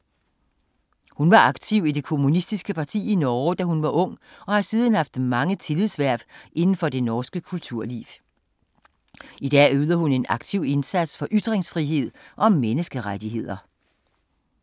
Hun var aktiv i det kommunistiske parti i Norge, da hun var ung og har siden haft mange tillidshverv inden for det norske kulturliv. I dag yder hun en aktiv indsats for ytringsfrihed og menneskerettigheder.